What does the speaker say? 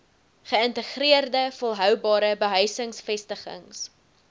geïntegreerde volhoubare behuisingsvestigings